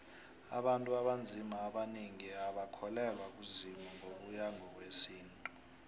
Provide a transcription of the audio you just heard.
abantu abanzima abanengi abakholelwa kuzimu ngokuya ngowesintu